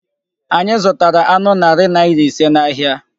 Anyị zụtara anụ narị naira ise n'ahịa.